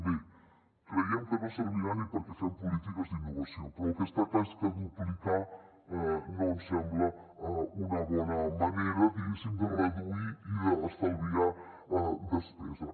bé creiem que no servirà ni perquè fem polítiques d’innovació però el que està clar és que duplicar no ens sembla una bona manera diguéssim de reduir i d’estalviar despesa